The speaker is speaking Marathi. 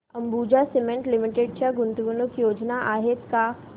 अंबुजा सीमेंट लिमिटेड च्या गुंतवणूक योजना आहेत का